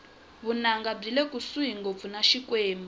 vunanga byile kusuhi ngopfu na xikwembu